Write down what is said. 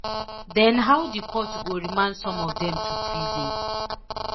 dem how di court go remand some of dem to prison